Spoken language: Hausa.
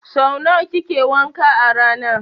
Sau nawa kike wanka a rana?